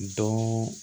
Dɔw